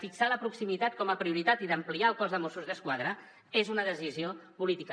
fixar la proximitat com a prioritat i ampliar el cos de mossos d’esquadra és una decisió política